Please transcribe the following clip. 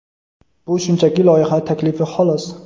Bu shunchaki loyiha taklifi xolos.